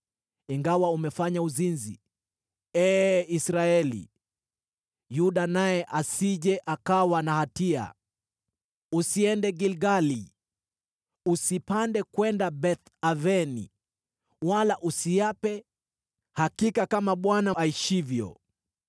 “Ingawa umefanya uzinzi, ee Israeli, Yuda naye asije akawa na hatia. “Usiende Gilgali, usipande kwenda Beth-Aveni Wala usiape, ‘Hakika kama Bwana aishivyo!’